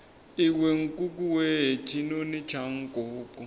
iwe nkukuwe tshinoni tsha nkuku